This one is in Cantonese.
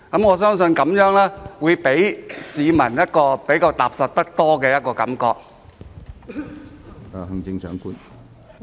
我相信這樣會令市民感覺踏實得多。